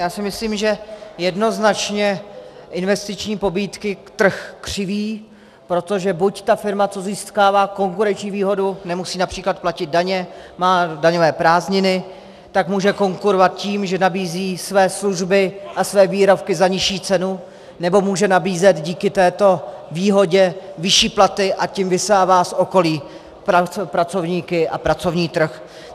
Já si myslím, že jednoznačně investiční pobídky trh křiví, protože buď ta firma, co získává konkurenční výhodu, nemusí například platit daně, má daňové prázdniny, tak může konkurovat tím, že nabízí své služby a své výrobky za nižší cenu, nebo může nabízet díky této výhodě vyšší platy, a tím vysává z okolí pracovníky a pracovní trh.